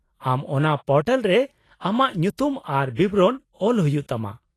-ᱟᱢ ᱚᱱᱟ ᱯᱚᱨᱴᱟᱞ ᱨᱮ ᱟᱢᱟᱜ ᱧᱩᱛᱩᱢ ᱟᱨ ᱵᱤᱵᱚᱨᱚᱱ ᱚᱞ ᱦᱩᱭᱩᱜ ᱛᱟᱢᱟ ᱾